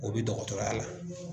O bi dɔgɔtɔrɔya la.